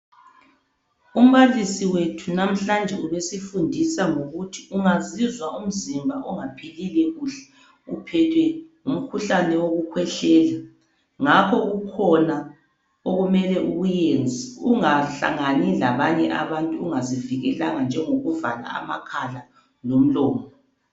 Umbalisi wethu namhlanje ubesifundisa ngokuthi ungazizwa umzimba ungaphlile kuhle uphethwe ngumkhuhlane woku khwehlela ngakho kukhona okumele ukuyenze ungahlangani labanye abantu ungazivikelanga njengo kuvala amakhala lomlomo..